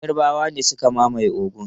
Yarbawa ne suka mamaye Ogun.